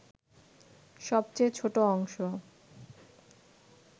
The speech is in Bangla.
সবচেয়ে ছোট অংশ